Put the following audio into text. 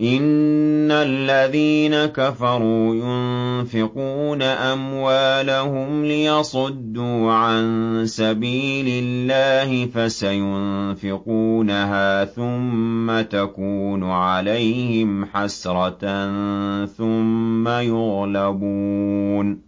إِنَّ الَّذِينَ كَفَرُوا يُنفِقُونَ أَمْوَالَهُمْ لِيَصُدُّوا عَن سَبِيلِ اللَّهِ ۚ فَسَيُنفِقُونَهَا ثُمَّ تَكُونُ عَلَيْهِمْ حَسْرَةً ثُمَّ يُغْلَبُونَ ۗ